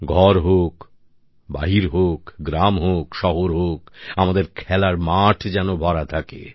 ঘর হোক বাহির হোক গ্রাম হোক শহর হোক আমাদের খেলার মাঠ যেন ভরা থাকে